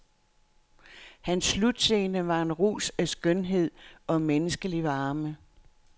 Hans slutscene var en rus af skønhed og menneskelig varme.